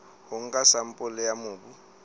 ho nka sampole ya mobu